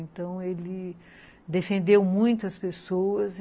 Então, ele defendeu muitas pessoas.